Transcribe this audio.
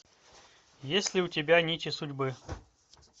есть ли у тебя нити судьбы